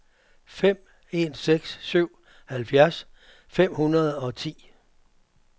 fem en seks syv halvfjerds fem hundrede og ti